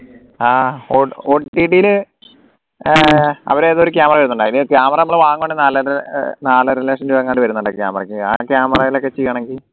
ആഹ് OTT ല് ഏർ അവരെ ഏതോ ഒരു camera വരുന്നുണ്ട് അതിന് camera നമ്മൾ വാങ്ങാൻ വേണ്ടി നാലര അഹ് നാലരലക്ഷം രൂപ എങ്ങാനും വരുന്നുണ്ട് camera ക്ക് ആ camera യിൽ ഒക്കെ ചെയ്യണമെങ്കിൽ